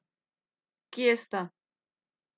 Kje sta?